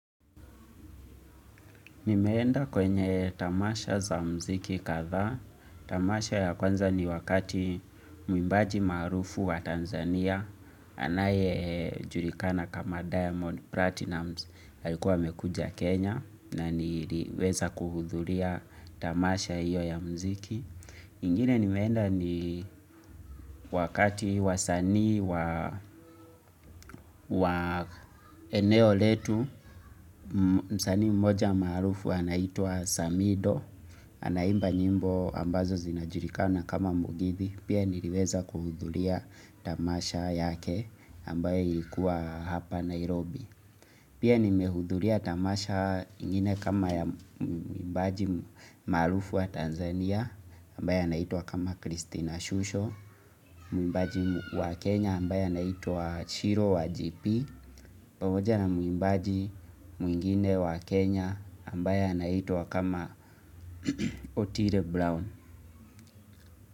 Nimeenda kwenye tamasha za mziki kadhaa, tamasha ya kwanza ni wakati mwimbaji maarufu wa Tanzania, anayejulikana kama Diamond Platinum, alikuwa amekuja Kenya, na niliweza kuhudhuria tamasha hiyo ya mziki. Ingine nimeenda ni wakati wasanii wa eneo letu msanii mmoja maarufu anaitwa Samido Anaimba nyimbo ambazo zinajulikana kama mugithi Pia niliweza kuhudhuria tamasha yake ambaye ilikuwa hapa Nairobi Pia nimehudhuria tamasha ingine kama mwimbaji maarufu wa Tanzania ambaye anaitwa kama cristina Shusho Mwimbaji wa Kenya ambaye anaitwa Shiro wa GP pamoja na mwimbaji mwingine wa Kenya ambaye anaitwa kama Otile Brown.